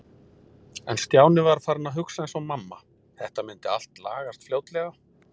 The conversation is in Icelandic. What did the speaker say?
En Stjáni var farinn að hugsa eins og mamma- þetta myndi allt lagast fljótlega.